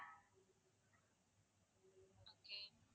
okay